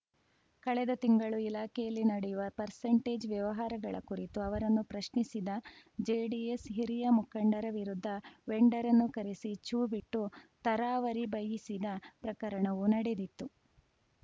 ಕಳೆದ ತಿಂಗಳು ಇಲಾಖೆಯಲ್ಲಿ ನಡೆಯುವ ಪರ್ಸೆಂಟೇಜ್‌ ವ್ಯವಹಾರಗಳ ಕುರಿತು ಅವರನ್ನು ಪ್ರಶ್ನಿಸಿದ ಜೆಡಿಎಸ್‌ ಹಿರಿಯ ಮುಖಂಡರ ವಿರುದ್ಧ ವೆಂಡರ್‌ರನ್ನು ಕರೆಸಿ ಛೂ ಬಿಟ್ಟು ತರಾವರಿ ಬೈಯ್ಯಿಸಿದ ಪ್ರಕರಣವೂ ನಡೆದಿತ್ತು